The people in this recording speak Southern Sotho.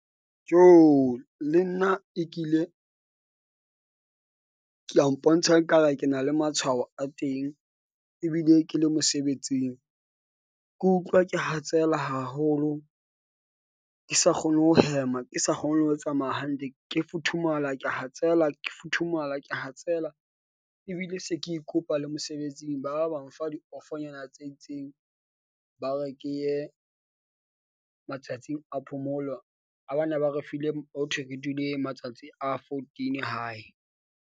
Jo le nna e kile ka mpontsha ekare ke na le matshwao a teng ebile ke le mosebetsing. Ke utlwa ke hatsela haholo , ke sa kgone ho hema. Ke sa kgone le ho tsamaya hantle ke futhumala, ke a hatsela, ke futhumala, ke hatsela ebile se ke ikopa le mosebetsing. Ba ba ba mfa diofonyana tse itseng. Ba re ke ye matsatsing a phomolo ha ba ne ba re file hothwe re dule matsatsi a fourteen hae.